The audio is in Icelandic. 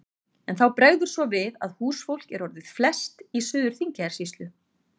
En þá bregður svo við að húsfólk er orðið flest í Suður-Þingeyjarsýslu.